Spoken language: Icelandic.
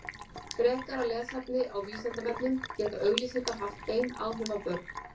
Frekara lesefni á Vísindavefnum Geta auglýsingar haft bein áhrif á börn?